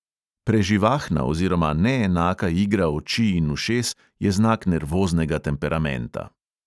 Preživahna oziroma neenaka igra oči in ušes je znak nervoznega temperamenta.